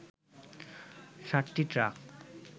সাতটি ট্রাক